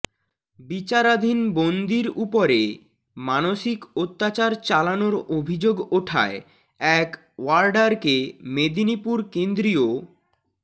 বিচারাধীন বন্দির উপরে মানসিক অত্যাচার চালানোর অভিযোগ ওঠায় এক ওয়ার্ডারকে মেদিনীপুর কেন্দ্রীয়